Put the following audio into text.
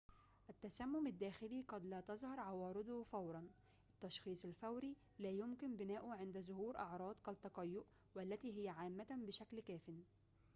التسمم الداخلي قد لا تظهر عوارضه فوراً التشخيص الفوري لا يمكن بناؤه عند ظهور أعراض كالتقيؤ والتي هي عامة بشكل كافٍ